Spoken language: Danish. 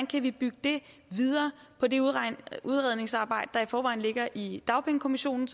kan bygge videre på det udredningsarbejde der i forvejen ligger i dagpengekommissionen